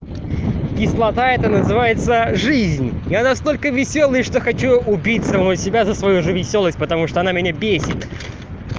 кислота это называется жизнь я настолько весёлый что хочу убить самого себя за свою же весёлость потому что она меня бесит